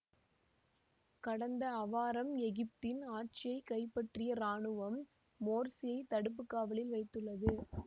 கடந்த அவாரம் எகிப்தின் ஆட்சியை கைப்பற்றிய இராணுவம் மோர்சியை தடுப்பு காவலில் வைத்துள்ளது